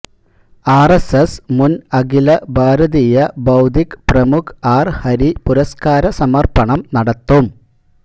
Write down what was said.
RSS മുൻ അഖില ഭാരതീയ ബൌദ്ധിക് പ്രമുഖ് ആർ ഹരി പുരസ്കാര സമർപ്പണം നടത്തും